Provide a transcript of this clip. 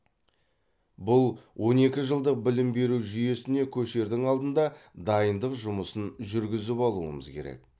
бұл он екі жылдық білім беру жүйесіне көшердің алдында дайындық жұмысын жүргізіп алуымыз керек